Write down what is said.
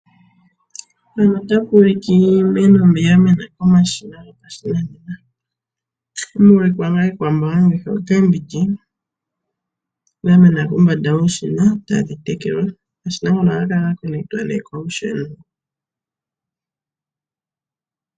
Iimeno ya mena komashina gopashinanena. Omu na iikwamboga ngaashi oomboga dha mena kombanda yomashina tadhi tekelwa. Omashina ngaka ohaga tulwa nduno kolusheno.